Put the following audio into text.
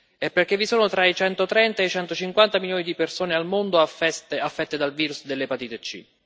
e perché vi sono tra i 130 e i 150 milioni di persone al mondo affette dal virus dell'epatite C.